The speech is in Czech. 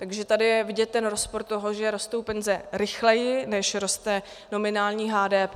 Takže tady je vidět ten rozpor toho, že rostou penze rychleji, než roste nominální HDP.